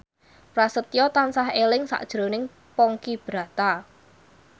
Prasetyo tansah eling sakjroning Ponky Brata